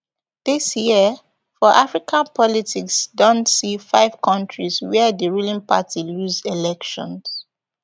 dis year for african politics don see five kontris wia di ruling party lose elections